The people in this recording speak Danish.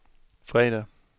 fredag